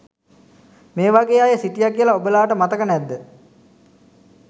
මේ වගේ අය සිටිය කියල ඔබලාට මතක නැද්ද?